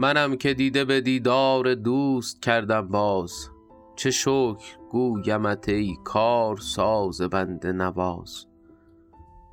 منم که دیده به دیدار دوست کردم باز چه شکر گویمت ای کارساز بنده نواز